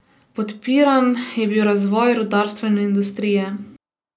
Podpiran je bil razvoj rudarstva in industrije.